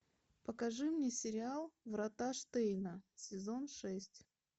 покажи мне сериал врата штейна сезон шесть